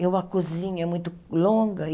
E uma cozinha muito longa.